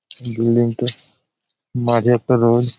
building টির মাঝে একটা রড --